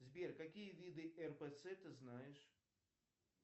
сбер какие виды рпц ты знаешь